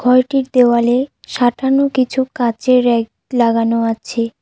ঘরটির দেওয়ালে সাঁটানো কিছু কাঁচের রেক লাগানো আছে।